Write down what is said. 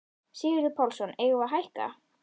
Sigurður Pálsson: Eigum við að hækka?